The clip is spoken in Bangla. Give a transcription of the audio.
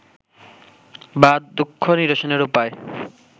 বা দুঃখ নিরসনের উপায়